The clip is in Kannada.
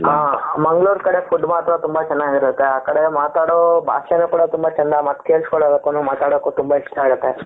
ಹ ಮಂಗಳೂರು ಕಡೆ food ಮಾತ್ರ ತುಂಬಾ ಚೆನ್ನಾಗಿರುತ್ತೆ ಆ ಕಡೆ ಮಾತಾಡೋ ಭಾಷೆನು ಕೂಡ ತುಂಬಾ ಚೆಂದ ಮತ್ತೆ ಕೇಳಿಸ್ಕೊಳ್ಳೋದಕ್ಕೂ ಮಾತಾಡೋದಕ್ಕೂ ತುಂಬಾ ಇಷ್ಟ ಆಗುತ್ತೆ.